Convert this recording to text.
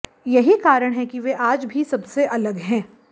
यही कारण है कि वे आज भी सबसे अलग हैं